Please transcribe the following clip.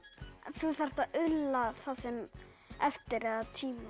þú þarft að ulla það sem eftir er af tímanum